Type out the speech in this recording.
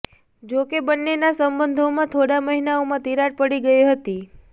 જો કે બન્નેના સંબંધોમાં થોડા મહિનાઓમાં તિરાડ પડી ગઈ હતી